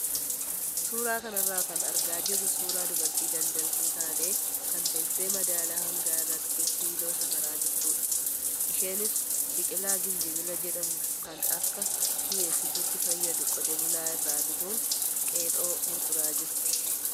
Suuraa kanarraa kan argaa jirru suuraa dubartii daldaltuu taatee kan teessee madaala hangaa irratti killoo safaraa jirtudha. Isheenis biqilaa gijinbila jedhamu kan akka mi'eessituutti fayyadu qote bulaa irraa bituun qexoo gurguraa jirti.